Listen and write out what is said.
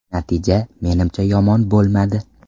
Natija, menimcha yomon bo‘lmadi.